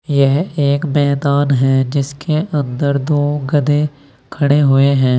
यह एक मैदान है जिसके अंदर दो गधे खड़े हुए हैं।